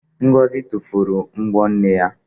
Ngọzị tufuru m̀bọ́ nne ya.